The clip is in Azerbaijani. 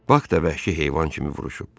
Bak da vəhşi heyvan kimi vuruşub.